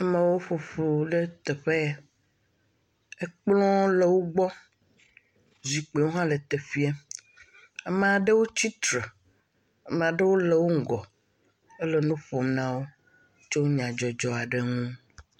Amewo ƒoƒu le teƒe ya, ekpl le wogbɔ, zikpi hã le teƒiɛ, amaɖewo tsitre, amaɖewo le wo ŋgɔ ele nuƒom nawo tso nyadzɔdzɔ aɖe ŋu.